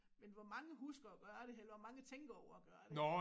Men hvor mange husker at gøre det eller hvor mange tænker over at gøre det